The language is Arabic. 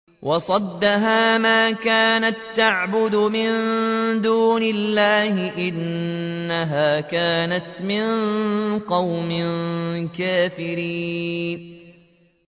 وَصَدَّهَا مَا كَانَت تَّعْبُدُ مِن دُونِ اللَّهِ ۖ إِنَّهَا كَانَتْ مِن قَوْمٍ كَافِرِينَ